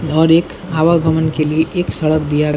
और एक आवागमन के लिए एक सड़क दिया --